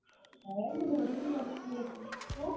ଏଇ ମୁଁ ଘୋଡି ହେଇ ବସ୍ ଥିଲି ଏଠି ଉଁ।